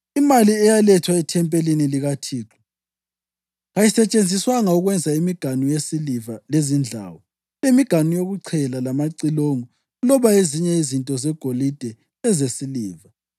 Imali eyalethwa ethempelini likaThixo kayisetshenziswanga ukwenza imiganu yesiliva, lezindlawu, lemiganu yokuchela, lamacilongo loba ezinye izinto zegolide lezesiliva;